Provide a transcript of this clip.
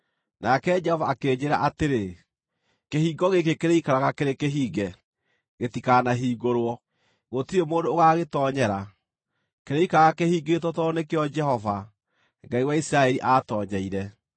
Nake Jehova akĩnjĩĩra atĩrĩ, “Kĩhingo gĩkĩ kĩrĩikaraga kĩrĩ kĩhinge. Gĩtikanahingũrwo; gũtirĩ mũndũ ũgaagĩtoonyera. Kĩrĩikaraga kĩhingĩtwo tondũ nĩkĩo Jehova, Ngai wa Isiraeli, aatoonyeire.